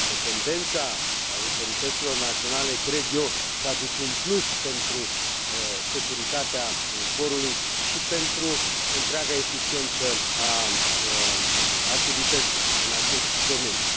Independența autorităților naționale, cred eu, aduce un plus pentru securitatea zborului și pentru întreaga eficiență a activității în acest domeniu.